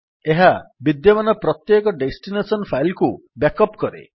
ଏହା ବିଦ୍ୟମାନ ପ୍ରତ୍ୟେକ ଡେଷ୍ଟିନେସନ୍ ଫାଇଲ୍ କୁ ବ୍ୟାକ୍ ଅପ୍ କରେ